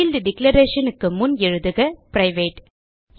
field declarationக்கு முன் எழுதுக பிரைவேட்